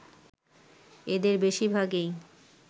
এদের বেশিরভাগই